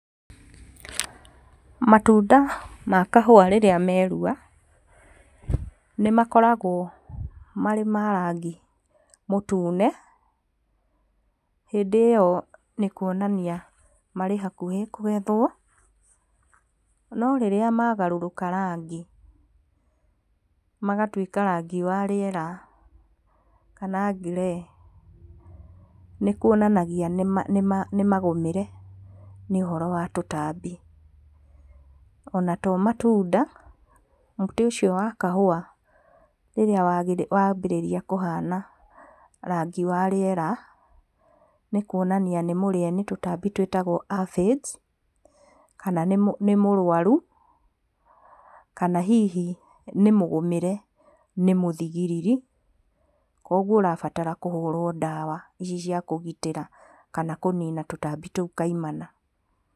Matunda makahua rĩrĩa meruha, nĩmakoragwo marĩ marangi mũtune, hĩndĩ ĩyo nĩ kuonania marĩ hakuhĩ kũgethwo, no rĩrĩa magarũrũka rangi matuĩka marĩera, kana grey, nĩ kuonanagia nĩmagũmĩre nĩ ũhoro wa tũtambi. Ona tomatunda, mũtĩ ũcio wa kahũwa rĩrĩa wambĩrĩria kũhama rangi wa rĩera, nĩkuonania nĩmũrĩe nĩ tũtambĩ tũĩtagwo aphids, kana nĩ mũrwaru, kana hihi nĩ mũgũmĩre nĩ mũthigiriri, koguo ũrabatara kũhũrwo ndawa oci cia kũgitĩra kana kũnina tũtambi tũu kaimana.